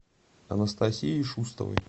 анастасией шустовой